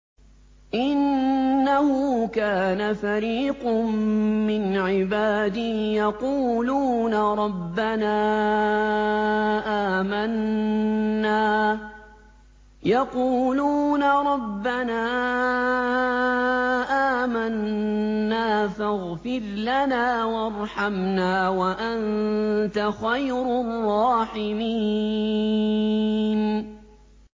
إِنَّهُ كَانَ فَرِيقٌ مِّنْ عِبَادِي يَقُولُونَ رَبَّنَا آمَنَّا فَاغْفِرْ لَنَا وَارْحَمْنَا وَأَنتَ خَيْرُ الرَّاحِمِينَ